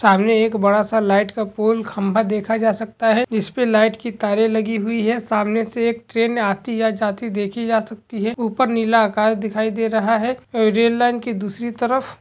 सामने एक बड़ा सा लाइट का पोल खंभा देखा जा सकता है जिसपे लाइट की तारें लगी हुई है सामने से ट्रेन आती या जाती देखी जा सकती है ऊपर नीला आकाश दिखाई दे रहा है रेल लाइन की दूसरी तरफ --